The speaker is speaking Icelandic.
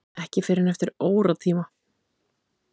Ekki fyrr en eftir óratíma.